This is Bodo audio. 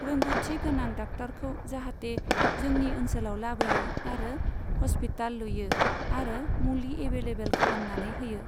रोंगौथि गोनां डाक्टारखौ जाहाथे जोंनि ओनसोलाव लाबोयो आरो हस्पिताल लुयो आरो मुलि एभेलएबोल खालामनानै होयो।